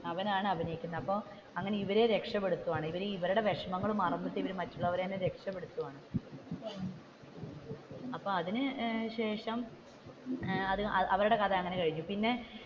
അവനാണ് അഭിനയിക്കുന്നത് അപ്പൊ അങ്ങനെ ഇവരെ രക്ഷപ്പെടുത്തുവാണ് ഇവരുടെ വിഷമങ്ങൾ മറന്നു, മറ്റുള്ളവരെ രക്ഷപ്പെടുത്തുവാണ് അപ്പൊ അതിനു ശേഷം ഏർ അവരുടെ കഥ അങ്ങനെ കഴിഞ്ഞു പിന്നെ